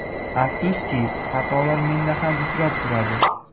Afsuski, xatolar menda ham uchrab turadi.